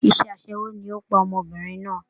Iṣẹ́ aṣẹ́wó ni ó pa ọmọbìnrin náà